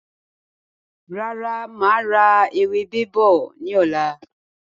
Rárá, máa ra ewébẹ̀ bọ̀ ni ọ̀la.